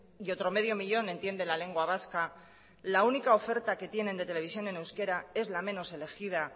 y otro medio millón entiende la lengua vasca la única oferta que tienen de televisión en euskera es la menos elegida